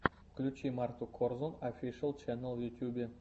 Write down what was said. включи марту корзун офишиал ченнал в ютюбе